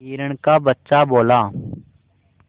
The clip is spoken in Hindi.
हिरण का बच्चा बोला